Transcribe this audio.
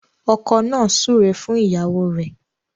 Ọkọ nà súré fún ìyàwó rẹ.